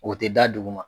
O tɛ da duguma